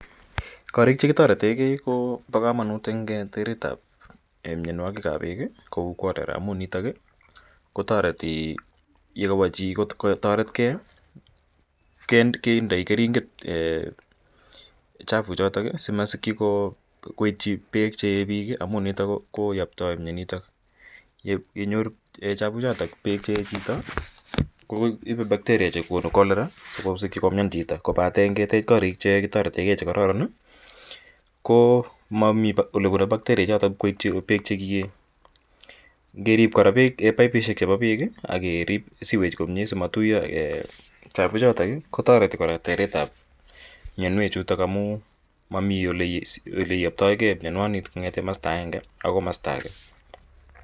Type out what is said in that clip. Korik che kitarete ge ko pa kamanut eng' teret ap mianwagik ap peek kou cholera amu nitok kotareti ye kawa chi kotaret gei kindai keringet chafuchotok asimasikchi koitchi peek che ee piik amu nitok koyaptai mianitok. Yenyor chafuchotok peek che ee chito ko ipu bacteria che konu Cholera askosikchi komian chito. Kopate ngetech koriik che kararan che kitarete gei che kararan ko mami ole pune bacteria ichotok koitchi peek che ki ee. Ngerip kora paipishek chepa peek ak kerip sewage asima tuya chapuchotok ko tareti kora tereet ap mianwechuto amu mami ole iyaptaigei mianitok kong'ete masta agenge akoi masta age.